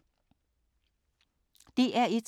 DR1